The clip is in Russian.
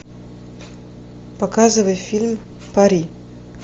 показывай фильм пари